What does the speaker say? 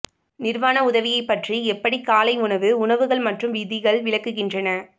நிர்வாண உதவியைப் பற்றி எப்படி காலை உணவு உணவுகள் மற்றும் விதிகள் விளக்குகின்றன